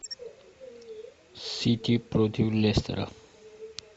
сити против лестера